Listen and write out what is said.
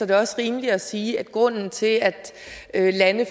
det også rimeligt at sige at grunden til at lande